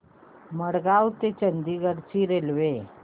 मडगाव ते चंडीगढ ची रेल्वे